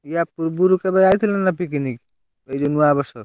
ୟା ପୂର୍ବରୁ କେବେ ଆଇଥିଲ ନା picnic ? ଏଇ ଯୋଉ ନୂଆବର୍ଷ?